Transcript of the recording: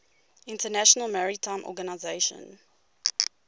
international maritime organization